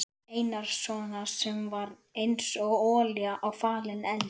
Einarssonar sem var einsog olía á falinn eld.